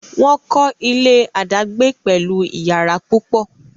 wón kò ilé adagbe pẹlú iyàrá púpọ.